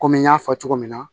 Kɔmi n y'a fɔ cogo min na